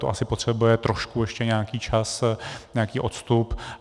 To asi potřebuje trošku ještě nějaký čas, nějaký odstup.